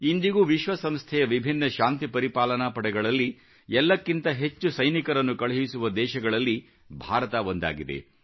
ಇಂದಿಗೂ ವಿಶ್ವಸಂಸ್ಥೆಯ ವಿಭಿನ್ನ ಶಾಂತಿ ಪರಿಪಾಲನಾ ಪಡೆಗಳಲ್ಲಿ ಎಲ್ಲಕ್ಕಿಂತ ಹೆಚ್ಚು ಸೈನಿಕರನ್ನು ಕಳುಹಿಸುವ ದೇಶಗಳಲ್ಲಿ ಭಾರತ ಒಂದಾಗಿದೆ